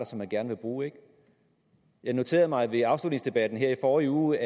som man gerne vil bruge ikke jeg noterede mig ved afslutningsdebatten her i forrige uge